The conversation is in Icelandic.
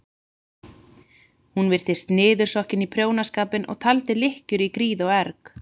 Hún virtist niðursokkin í prjónaskapinn og taldi lykkjur í gríð og erg.